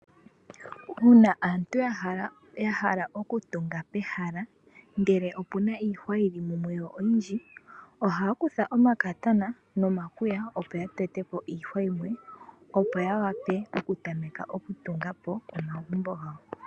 Uuna aantu ya hala okutunga pehala ndele opu na iihwa yi li mumwe yo oyindji, ohaya kutha omakatana nomakwiya opo ya tete po iihwa yimwe opo ya wape okutameka okutunga po omagumbo gawo.